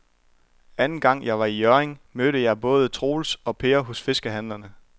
Anden gang jeg var i Hjørring, mødte jeg både Troels og Per hos fiskehandlerne.